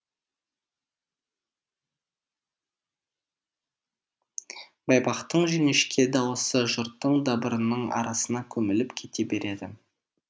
байбақтың жіңішке даусы жұрттың дабырының арасына көміліп кете береді